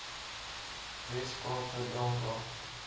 wes kaapse drankraad